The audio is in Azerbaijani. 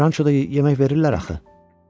Rançoda yemək verirlər axı.